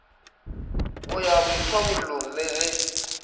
go ya boithobollong le ge